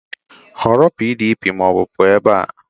Họrọ PDP ma ọ bụ pụọ ebe a!